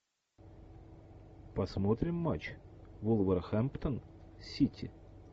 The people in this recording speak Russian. посмотрим матч вулверхэмптон сити